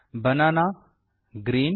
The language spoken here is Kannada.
ಬಾಣನ ಗ್ರೀನ್